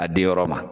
A di yɔrɔ ma